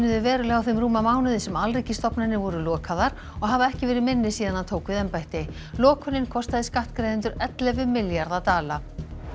verulega á þeim rúma mánuði sem alríkisstofnanir voru lokaðar og hafa ekki verið minni síðan hann tók við embætti lokunin kostaði skattgreiðendur ellefu milljarða dala